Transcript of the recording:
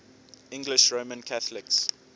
english roman catholics